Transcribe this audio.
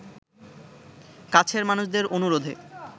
কাছের মানুষদের অনুরোধে